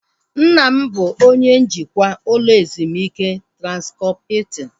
Nna m bụ onye njikwa ụlọ ezumike Transkọp Hiltin